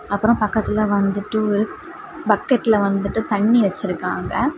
அப்புறம் பக்கத்துல வந்துட்டு ஒரு பக்கெட்ல வந்துட்டு தண்ணி வச்சிருக்காங்க.